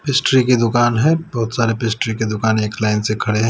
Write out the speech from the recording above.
Pastry की दुकान है बहुत सारे पिस्ट्री की दुकान एक लाइन से खड़े हैं।